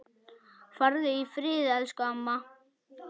Farðu í friði elsku amma.